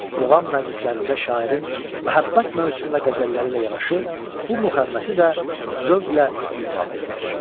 Muğam məclislərində şairin məhəbbət mövzusunda qəzəlləri ilə yanaşı, bu müxəmməsi də zövqlə ifadə edilir.